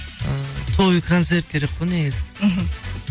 ы той концерт керек қой негізі мхм